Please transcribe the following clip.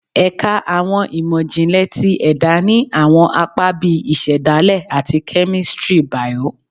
Ẹka Awọn imọ-jinlẹ ti Ẹda ni awọn apa bii Isedale ati Kemistri Bio